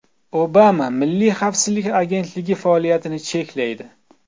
Obama Milliy xavfsizlik agentligi faoliyatini cheklaydi.